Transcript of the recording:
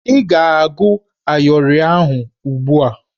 Ị ga-agụ ayịọrị ahụ ugbu a!